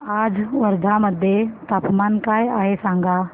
आज वर्धा मध्ये तापमान काय आहे सांगा